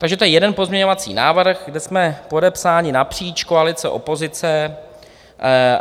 Takže to je jeden pozměňovací návrh, kde jsme podepsáni napříč koalice - opozice.